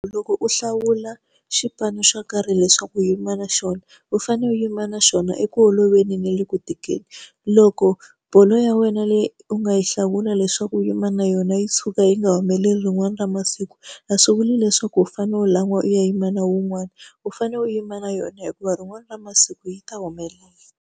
Loko u hlawula xipano xo karhi leswaku u yima na xona, u fanele u yima na xona eku oloveni na le ku tikeni. Loko bolo ya wena leyi u nga yi hlawula leswaku u yima na yona yi tshuka yi nga humeleli rin'wana ra masiku, a swi vuli leswaku u fanele u lan'wa u ya yima na wun'wana. U fanele u yima na yona hikuva rin'wana ra masiku yi ta humelela.